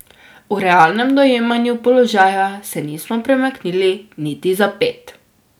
V realnem dojemanju položaja se nismo premaknili niti za ped.